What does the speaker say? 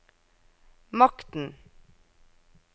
makten